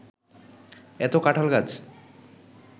এত কাঁঠাল গাছ